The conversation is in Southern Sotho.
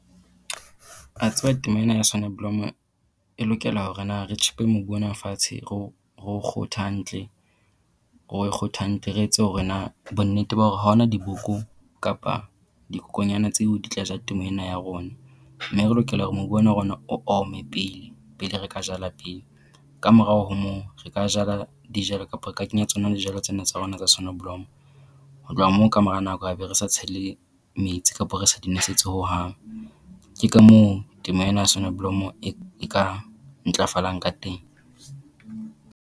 A tseba temo ena ya soneblomo e lokela hore na re tjhepe mobu ona fatshe ro ro o kgothe hantle re o kgothe hantle, re etse hore na bonnete ba hore ha ho na diboko kapa dikokonyana tseo di tla ja temo ena ya rona. Mme re lokela hore mobu ona wa rona o ome pele pele re ka jala peo, kamorao ho moo re ka jala dijalo kapa re ka kenya tsona lejalo tsena tsa rona tsa sonoblomo. Ho tloha moo kamora nako a be re sa tshele metsi kapa re sa di nosetse hohang. Ke ka moo temo ena soneblomo e e ka ntlafalang ka teng.